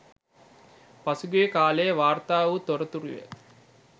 පසුගිය කාලයේ වාර්තා වූ තොරතුරුය.